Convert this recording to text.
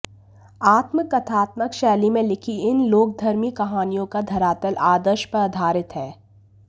आत्मकथात्मक शैली में लिखी इन लोकधर्मी कहानियों का धरातल आदर्श पर आधारित है